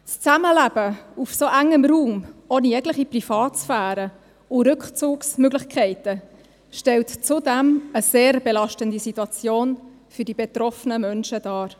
Das Zusammenleben auf so engem Raum, ohne jegliche Privatsphäre und Rückzugsmöglichkeiten, stellt zudem eine sehr belastende Situation für die betroffenen Menschen dar.